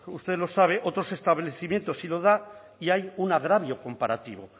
usted lo sabe otros establecimientos sí lo dan y hay un agravio comparativo